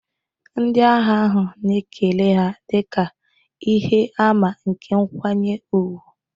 Ndị agha ahụ na-ekele ha dị ka ihe àmà nke nkwanye ùgwù